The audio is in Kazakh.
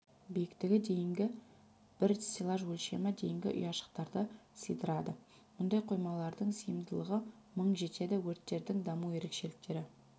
биіктігі дейінгі бір стеллаж өлшемі дейінгі ұяшықтарды сыйдырады мұндай қоймалардың сыйымдылығы мың жетеді өрттердің даму ерекшеліктері